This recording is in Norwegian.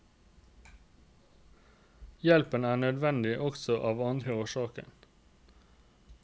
Hjelpen er nødvendig også av andre årsaker.